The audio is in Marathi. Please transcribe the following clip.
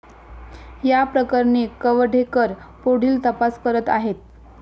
या प्रकरणी कवठेकर पुढील तपास करत आहेत.